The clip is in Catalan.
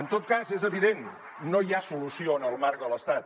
en tot cas és evident no hi ha solució en el marc de l’estat